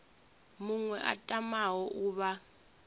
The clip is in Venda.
muṅwe a tamaho u vha